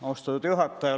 Austatud juhataja!